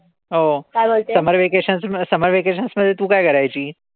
हो summer vacation-summer vacation मध्ये तू काय करायचीस?